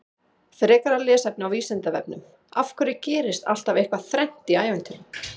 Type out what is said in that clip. Frekara lesefni á Vísindavefnum: Af hverju gerist alltaf eitthvað þrennt í ævintýrum?